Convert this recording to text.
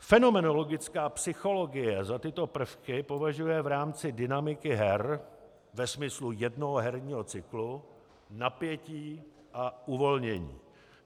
Fenomenologická psychologie za tyto prvky považuje v rámci dynamiky her ve smyslu jednoho herního cyklu napětí a uvolnění.